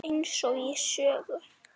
Eins og í sögu.